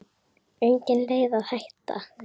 Engin leið að hætta.